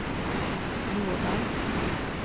Jordal